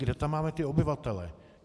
Kde tam máme ty obyvatele?